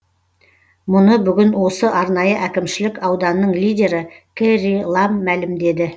мұны бүгін осы арнайы әкімшілік ауданның лидері кэрри лам мәлімдеді